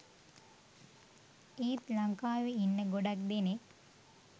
ඒත් ලංකාවේ ඉන්න ගොඩක් දෙනෙක්